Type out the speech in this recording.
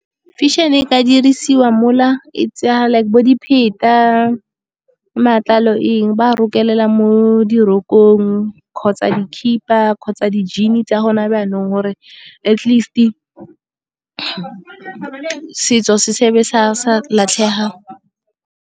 Fashion-e ka dirisiwa mola e tsa like bo dipheta, matlalo eng ba a rokelela mo dirokong kgotsa dikhiba kgotsa di-jean-i tsa gone jaanong, gore atleast setso se se be sa latlhega.